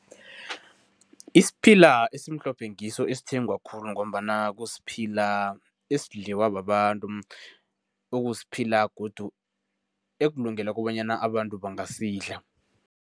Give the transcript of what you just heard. Isiphila esimhlophe ngiso esithengwa khulu ngombana kusiphila esidliwa babantu ekusiphila godu ekulungeleko bonyana abantu bangasidla.